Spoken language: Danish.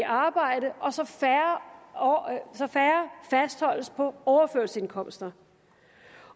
arbejde og færre fastholdes på overførselsindkomster